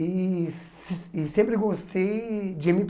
E e sempre gostei de eme